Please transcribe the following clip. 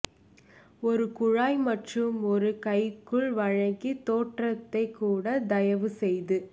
ஒரு குழாய் மற்றும் ஒரு கைக்குள் வழங்கி தோற்றத்தை கூட தயவு செய்து